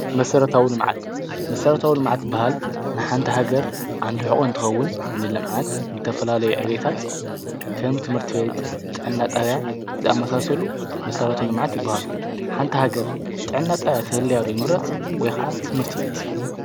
መሠረታውሉ መዓት መሠረታውሉ መዓት በሃል ንሓንታ ሃገር ኣንድሕቖ እንትኸውን ንለምዓት እንተፈላለይ ዕቤታት ከም ትምህርት ቤት ጠናጠብያ ዝኣመሳሰሉ መሠረቶሎ መዓት ይበሃሉ ሓንታ ሕገር ጠናጠብያ ተህልያዶ ይምረጽ ወይቓዓ ትምህርት ቤት።